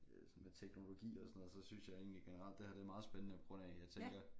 Sådan men teknologi og sådan noget så synes jeg egentlig generelt det her det meget spændende på grund af jeg tænker